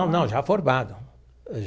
Não, não, já formado.